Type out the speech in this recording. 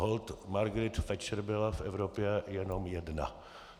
Holt Margaret Thatcher byla v Evropě jenom jedna.